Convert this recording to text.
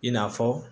I n'a fɔ